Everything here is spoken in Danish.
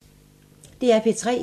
DR P3